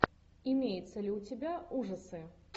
имеется ли у тебя ужасы